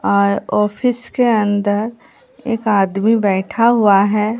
और ऑफिस के अंदर एक आदमी बैठा हुआ है।